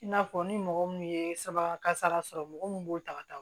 I n'a fɔ ni mɔgɔ mun ye saba kasara sɔrɔ mɔgɔ min b'o ta ka taa